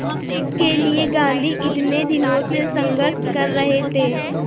जिसके लिए गांधी इतने दिनों से संघर्ष कर रहे थे